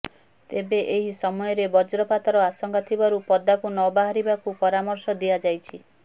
ତେବେ ଏହି ସମୟରେବଜ୍ରପାତର ଆଶଙ୍କା ଥିବାରୁ ପଦାକୁ ନବାହାରିବାକୁ ପରାମର୍ଶ ଦିଆଯାଇଛି